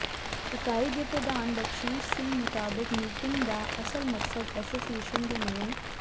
ਇਕਾਈ ਦੇ ਪ੍ਰਧਾਨ ਬਖਸੀਸ਼ ਸਿੰਘ ਮੁਤਾਬਿਕ ਮੀਟਿੰਗ ਦਾ ਅਸਲ ਮਕਸਦ ਐਸੋਸੀਏਸ਼ਨ ਦੇ ਨਵੇ